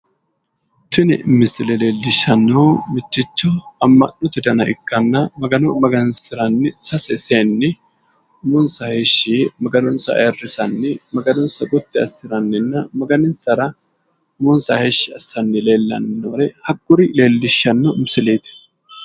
Tini misile leelishanohu mitticho amma'note dana ikkanna, magano magansiranni sase seenni umonsa heeshshi yee maganonsa ayiirrisanni maganonsa gotti assiranninna maganinsara umonsa heeshshi assannoro hakkuri leellishshanno misileeti.